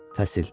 Fəsil.